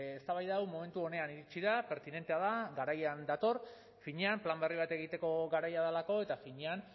eztabaida hau momentu onean iritsi da pertinentea da garaian dator finean plan berri bat egiteko garaia delako eta finean